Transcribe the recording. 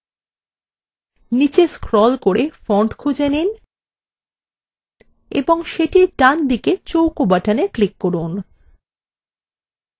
নিচে scroll করে font খুঁজে নিন এবং সেটির ডানদিকে চৌকো buttonএ click করুন